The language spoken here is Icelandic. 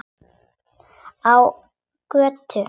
Á götu.